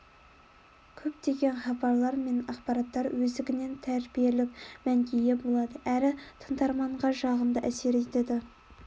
көптеген хабарлар мен ақпараттар өздігінен тәрбиелік мәнге ие болады әрі тыңдарманға жағымды әсер етеді